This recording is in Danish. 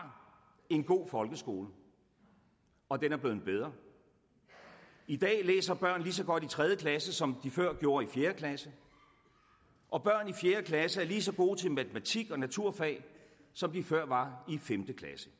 en god folkeskole og den er blevet bedre i dag læser børn lige så godt i tredje klasse som de før gjorde i fjerde klasse og børn i fjerde klasse er lige så gode til matematik og naturfag som de før var